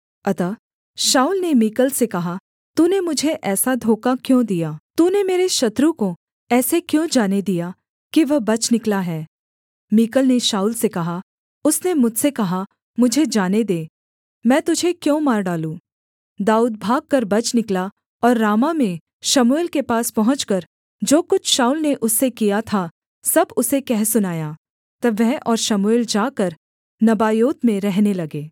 अतः शाऊल ने मीकल से कहा तूने मुझे ऐसा धोखा क्यों दिया तूने मेरे शत्रु को ऐसे क्यों जाने दिया कि वह बच निकला है मीकल ने शाऊल से कहा उसने मुझसे कहा मुझे जाने दे मैं तुझे क्यों मार डालूँ